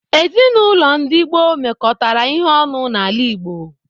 Ezinaụlọ ndi gboo mekọtara ihe ọnụ n'ala Igbo.